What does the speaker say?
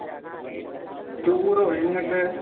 ടൂറോ? എങ്ങട്ട്?